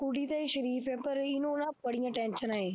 ਕੁੜੀ ਤੇ ਇਹ ਸਰੀਫ਼ ਹੈ ਪਰ ਇਹਨੂੰ ਨਾ ਬੜੀਆਂ ਟੈਨਸਨਾਂ ਹੈ।